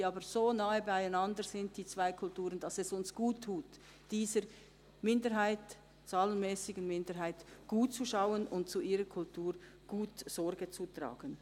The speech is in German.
Die beiden Kulturen sind aber so nahe beieinander, dass es uns guttut, gut auf diese zahlenmässige Minderheit zu achten und gut zu ihrer Kultur Sorge zu tragen.